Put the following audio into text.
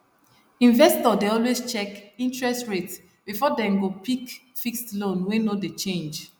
investor dey always check interest rate before dem go pick fixed loan wey no dey change